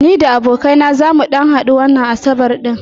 Ni da abokai na zamu ɗan hadu wannan asabar ɗin.